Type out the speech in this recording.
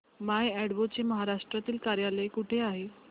माय अॅडवो चे महाराष्ट्रातील कार्यालय कुठे आहे